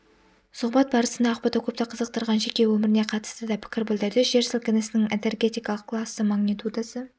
сұхбат барысында ақбота көпті қызықтырған жеке өміріне қатысты да пікір білдірді жер сілкінісінің энергетикалық классы магнитудасы